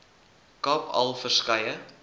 kaap al verskeie